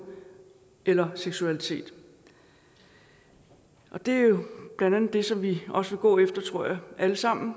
eller seksualitet og det er jo blandt andet det som vi også vil gå efter tror jeg alle sammen